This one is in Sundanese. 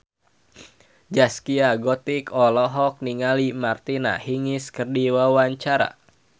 Zaskia Gotik olohok ningali Martina Hingis keur diwawancara